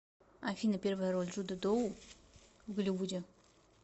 афина первая роль джуда доу в голливуде